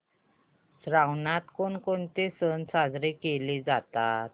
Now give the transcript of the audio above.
श्रावणात कोणकोणते सण साजरे केले जातात